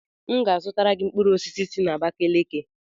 M ga-azụtara gị mkpụrụ osisi si n'Abakeleke.